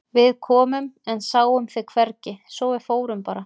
Við komum en sáum þig hvergi svo að við fórum bara.